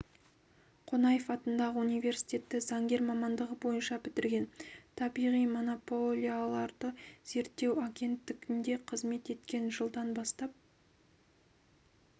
қонаев атындағы университетті заңгер мамандығы бойынша бітірген табиғи монополияларды реттеу агенттігінде қызмет еткен жылдан бастап